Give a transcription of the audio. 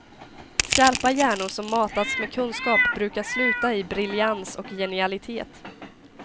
Skarpa hjärnor som matats med kunskap brukar sluta i briljans och genialitet.